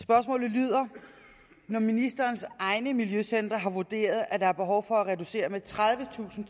lyder når ministerens egne miljøcentre har vurderet at der er behov for at reducere med tredivetusind